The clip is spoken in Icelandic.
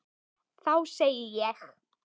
Þá segði ég: